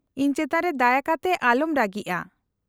-ᱤᱧ ᱪᱮᱛᱟᱱ ᱨᱮ ᱫᱟᱭᱟ ᱠᱟᱛᱮ ᱟᱚᱞᱚᱢ ᱨᱟᱹᱜᱤᱜᱼᱟ ᱾